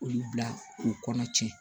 Olu bila u kɔnɔ tiɲɛ